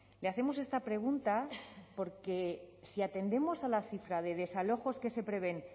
le hacemos esta pregunta porque si atendemos a la cifra de desalojos que se prevén